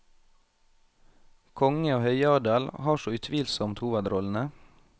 Konge og høyadel har så utvilsomt hovedrollene.